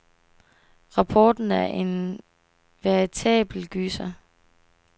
Rapporten er en veritabel gyser.